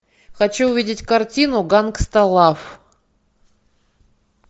хочу увидеть картину гангста лав